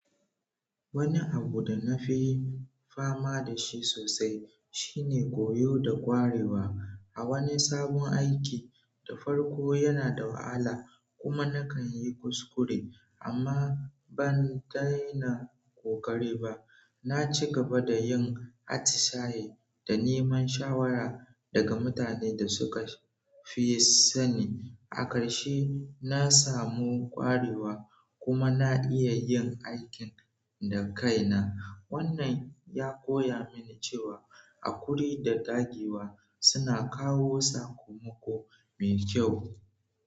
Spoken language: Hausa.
Wani abu da na fi fama da shi sosai shine koyo da ƙwarewa a wani sabon aiki. Da farko yana da wahala kuma na kan yi kuskure, amma ban daina ƙoƙari ba. Naci gaba da yin atisaye da neman shawara daga mutane da suka fi sanin. A ƙarshe, na samu ƙwarewa kuma na iya yin aikin da kai na. Wannan ya koya mini cewa haƙuri da ƙagewa suna kawo sakamako mai kyau.